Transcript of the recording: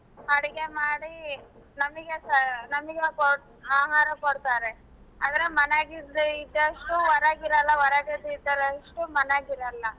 ಅಡ್ಗೆ ಮಾಡಿ ನಮಿಗೆ ನಮಿಗೆ ಆಹಾರ ಕೊಡ್ತಾರೆ ಆದ್ರೆ ಮನ್ಯಾಗ ಇದ್ದಷ್ಟು ಹೊರಗ್ ಇರಲ್ಲಾ ಹೊರಗಡೆ ಇದ್ದಷ್ಟು ಮನ್ಯಾಗ್ ಇರಲ್ಲಾ.